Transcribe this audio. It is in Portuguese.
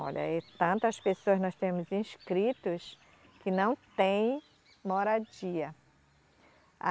Olha, é tantas pessoas nós temos inscritos que não têm moradia.